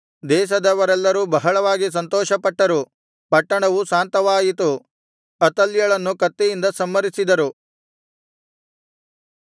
ದೇಶದವರೆಲ್ಲರೂ ಬಹಳವಾಗಿ ಸಂತೋಷಪಟ್ಟರು ಪಟ್ಟಣವು ಶಾಂತವಾಯಿತು ಅತಲ್ಯಳನ್ನು ಕತ್ತಿಯಿಂದ ಸಂಹರಿಸಿದರು